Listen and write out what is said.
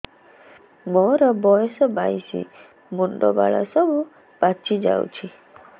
ମୋର ବୟସ ବାଇଶି ମୁଣ୍ଡ ବାଳ ସବୁ ପାଛି ଯାଉଛି